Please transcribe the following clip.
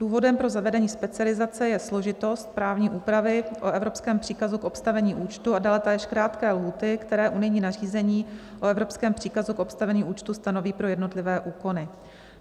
Důvodem pro zavedení specializace je složitost právní úpravy o evropském příkazu k obstavení účtu a dále též krátké lhůty, které unijní nařízení o evropském příkazu k obstavení účtu stanoví pro jednotlivé úkony.